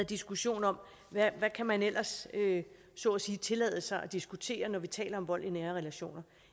diskussion om hvad man ellers så at sige kan tillade sig at diskutere når vi taler om vold i nære relationer